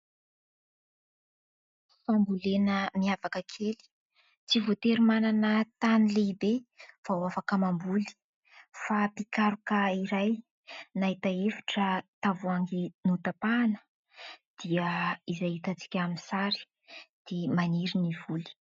Fambolena miavaka kely : tsy voatery manana tany lehibe vao afaka mamboly fa mpikaroka iray nahita hevitra tavoahangy notapahina, dia izay hitantsika amin'ny sary, dia maniry ny voly.